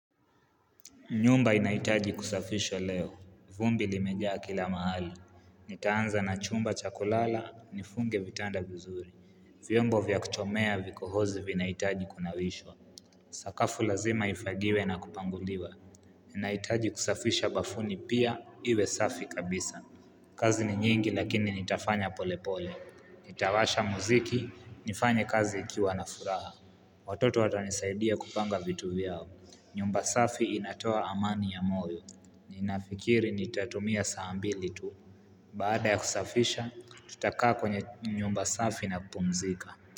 Nyumba inahitaji kusafishwa leo. Vumbi limejaa kila mahali. Nitaanza na chumba cha kulala, nifunge vitanda vizuri. Vyombo vya kuchomea vikohozi vinaitaji kunawishwa. Sakafu lazima ifagiwe na kupanguliwa. Inahitaji kusafisha bafuni pia, iwe safi kabisa. Kazi ni nyingi lakini nitafanya pole pole. Nitawasha muziki, nifanye kazi ikiwa na furaha. Watoto watanisaidia kupanga vitu vyao. Nyumba safi inatoa amani ya moyo, ninafikiri nitatumia saa mbili tu Baada ya kusafisha, tutakaa kwenye nyumba safi na kupumzika.